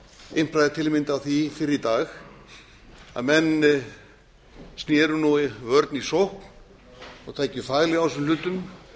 impraði til að mynda á því fyrr í dag að menn sneru vörn í sókn og tækju faglega á þessum hlutum